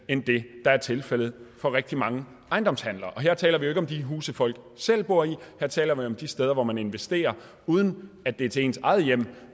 end det der er tilfældet for rigtig mange ejendomshandler her taler vi jo ikke om de huse folk selv bor i her taler vi om de steder hvor man investerer uden at det er til ens eget hjem